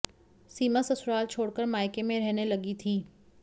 सीमा ससुराल छोडकर मायके में रहने लगी थी